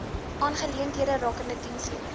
aangeleenthede rakende dienslewering